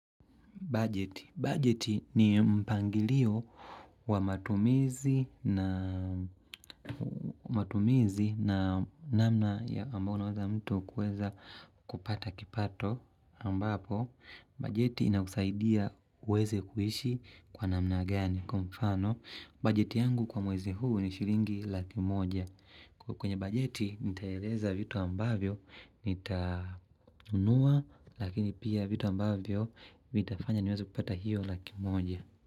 Bajeti ni mpangilio wa matumizi na namna ambao unaweza mtu kuweza kupata kipato ambapo bajeti inakusaidia uweze kuishi kwa namna gani. Kwa mfano, budget yangu kwa mwezi huu ni shilingi laki moja. Kwa kwenye bajeti, nitaeleza vitu ambavyo, nitanunua, lakini pia vitu ambavyo, vitafanya niweze kupata hiyo laki moja.